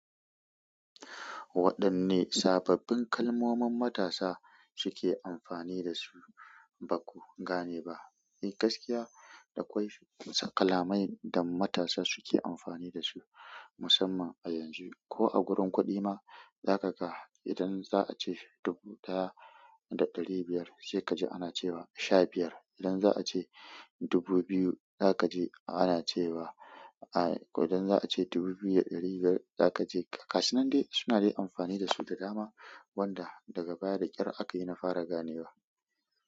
Waɗanne sababbin kalmomin marasa suke amfani da su da baku game ba eh gaskiya akwai kalamai wanda matasa suke amfani da su, musamman a yanzu ko a gurin kuɗi ma, zaka ga idan za a ce dubu ɗaya da ɗari biyar, sai ka ji ana cewa sha biyar. Idan za a ce dubu biyu, zaka ji ana cewa, idan za a ce dubu biyu da ɗari biyar, zaka ji. Gasu nan di suna dai amfani da su da dama, wanda daga baya da ƙyar aka yi na fara gane wa.